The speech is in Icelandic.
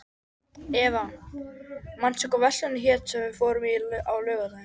Eva, manstu hvað verslunin hét sem við fórum í á laugardaginn?